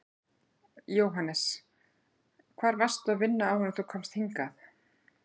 Jóhannes: Hvar varstu að vinna áður en þú komst hingað?